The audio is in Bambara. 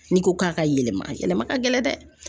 N'i ko k'a ka yɛlɛma a yɛlɛma ka gɛlɛn dɛ.